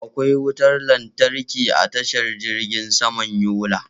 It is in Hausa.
Akwai wutar lantarki a tashar jirgin saman Yola.